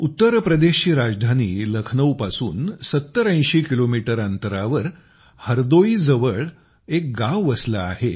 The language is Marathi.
उत्तरप्रदेशची राजधानी लखनौपसून ७०८० किलोमीटर अंतरावर हरदोईजवळ बानसा गाव वसलं आहे